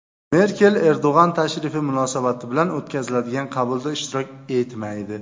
Merkel Erdo‘g‘on tashrifi munosabati bilan o‘tkaziladigan qabulda ishtirok etmaydi.